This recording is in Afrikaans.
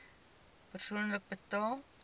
persoonlik betaal